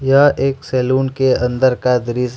यह एक सैलून के अंदर का दृश्य--